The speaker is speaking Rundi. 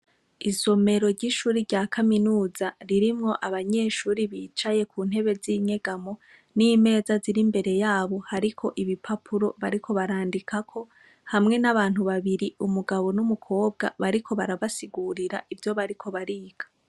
Isomero ry'ishuri rya kaminuza rirmwo abanyeshuri bicaye ku ntebe zinyegamo n'imeza ziri imbere yabo hariko ibipapuro bariko barandikako hamwe n'abantu babiri umugabo n'umukobwa bariko barabasigurira ivyo bariko bariga.